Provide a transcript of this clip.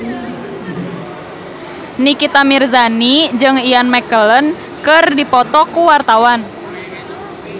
Nikita Mirzani jeung Ian McKellen keur dipoto ku wartawan